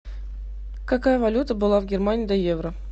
какая валюта была в германии до евро